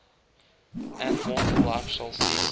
and mortal life shall cease